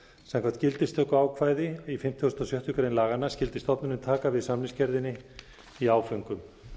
samkvæmt gildistökuákvæði í fimmtugasta og sjöttu grein laganna skyldi stofnunin taka við samningsgerðinni í áföngum